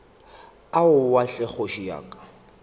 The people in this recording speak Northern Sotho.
aowa hle kgoši ya ka